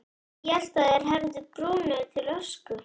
Ég hélt þeir hefðu brunnið til ösku.